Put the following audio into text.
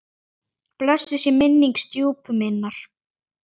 Blessuð sé minning stjúpu minnar.